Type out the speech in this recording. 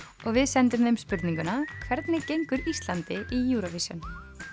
og við sendum þeim spurninguna hvernig gengur Íslandi í Eurovision